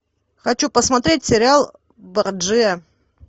хочу посмотреть сериал борджиа